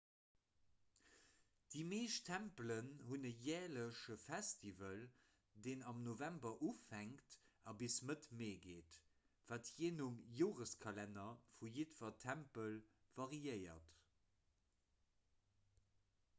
déi meescht tempelen hunn e järleche festival deen am november ufänkt a bis mëtt mee geet wat jee nom joreskalenner vu jiddwer tempel variéiert